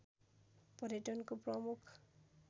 पर्यटनको प्रमुख